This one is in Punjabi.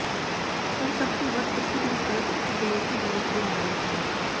ਪਰ ਸਭ ਤੋਂ ਵੱਧ ਪ੍ਰਸਿੱਧ ਵਿਕਲਪ ਇੱਕ ਗਲੋਸੀ ਗਲੋਸ ਦੇ ਮਾਡਲ ਹਨ